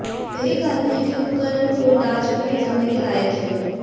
यही कारण है कि यह उपकरण को डाच में ले जाने के लायक है